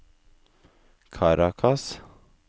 Caracas